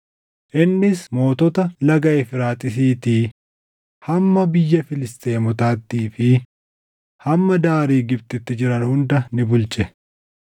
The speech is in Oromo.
Innis mootota Laga Efraaxiisiitii hamma biyya Filisxeemotaattii fi hamma daarii Gibxitti jiran hunda ni bulche.